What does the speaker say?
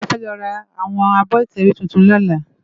Mó fè lò rá áwòn ábò itèwé tútún lòlá